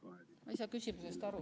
Ma ei saa küsimusest aru.